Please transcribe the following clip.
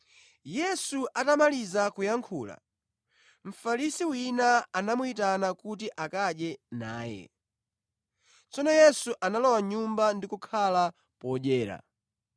Yesu atamaliza kuyankhula, Mfarisi wina anamuyitana kuti akadye naye. Tsono Yesu analowa mʼnyumba ndi kukhala podyera.